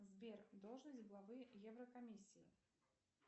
сбер должность главы еврокомисии